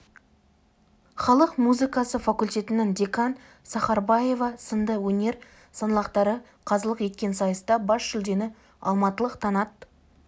халық музыкасы факультетінің деканы сахарбаева сынды өнер саңлақтары қазылық еткен сайыста бас жүлдені алматылық таңат